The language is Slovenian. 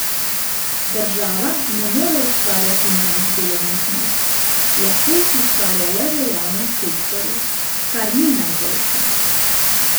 Država ne more ustvarjati novih delovnih mest, lahko jih ustvarja le v javnem sektorju, kar ni najboljše.